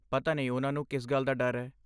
ਪਤਾ ਨਹੀਂ ਉਹਨਾਂ ਨੂੰ ਕਿਸ ਗੱਲ ਦਾ ਡਰ ਹੈ।